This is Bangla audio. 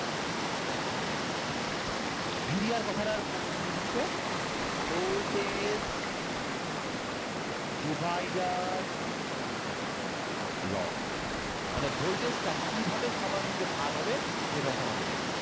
VDR কথাটার পূর্ণ meaning হচ্ছে voltage divider law, মানে voltage টা কীভাবে সবার মধ্যে ভাগ হবে সেটা হচ্ছে আমাদের।